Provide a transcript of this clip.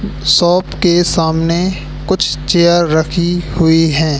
Shop के सामने कुछ चेयर रखी हुई हैं।